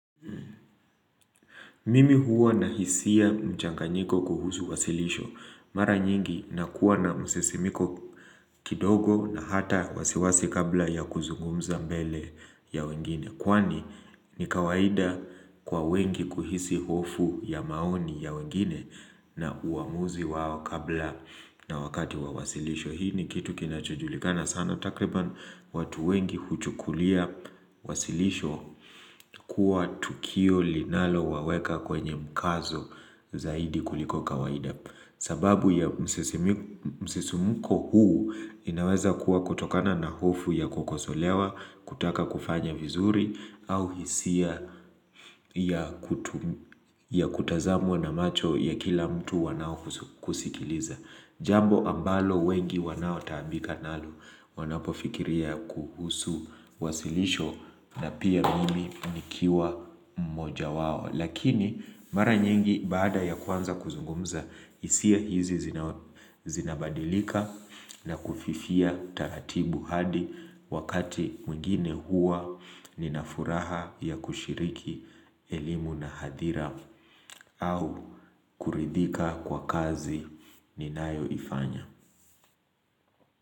Mimi huwa na hisia mchanganyiko kuhusu wasilisho. Mara nyingi na kuwa na msesimiko kidogo na hata wasiwasi kabla ya kuzungumza mbele ya wengine. Kwani ni kawaida kwa wengi kuhisi hofu ya maoni ya wengine na uamuzi wao kabla na wakati wa wasilisho. Hii ni kitu kinachujulikana sana takriban watu wengi huchukulia wasilisho kuwa tukio linalo waweka kwenye mkazo zaidi kuliko kawaida sababu ya msesimuko huu inaweza kuwa kutokana na hofu ya kukosolewa, kutaka kufanya vizuri au hisia ya ya kutazamwa na macho ya kila mtu wanao kusikiliza. Jambo ambalo wengi wanao taambika nalu wanapofikiria kuhusu wasilisho na pia mimi nikiwa mmoja wao. Lakini mara nyingi baada ya kuanza kuzungumza hisia hizi zinabadilika na kufifia taratibu hadi wakati mwingine hua ninafuraha ya kushiriki elimu na hadira au kuridhika kwa kazi ninayo ifanya.